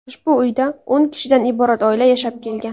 Ushbu uyda o‘n kishidan iborat oila yashab kelgan.